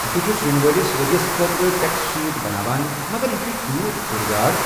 بہٕ چھُس ینہٕ وٲلس ؤرۍیَس خٲطرٕ ٹٮ۪کس شیٖٹ بناوان مگر یہِ چُھ تیوٗت کُھرۍ دار۔